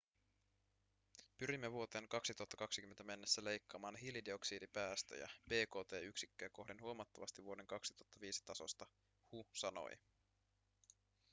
pyrimme vuoteen 2020 mennessä leikkaamaan hiilidioksidipäästöjä bkt-yksikköä kohden huomattavasti vuoden 2005 tasosta hu sanoi